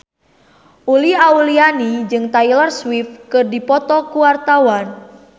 Uli Auliani jeung Taylor Swift keur dipoto ku wartawan